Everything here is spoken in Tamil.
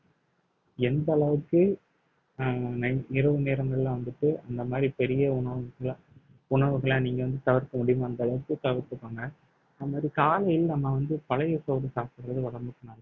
எந்த அளவுக்கு அஹ் nig~ இரவு நேரங்கள்ல வந்துட்டு இந்த மாதிரி பெரிய உணவுகளை உணவுகளை நீங்க வந்து தவிர்க்க முடியுமோ அந்த அளவுக்கு தவிர்த்துக்கோங்க அதே மாதிரி காலையில் நம்ம வந்து பழைய சோறு சாப்பிடுறது உடம்புக்கு நல்~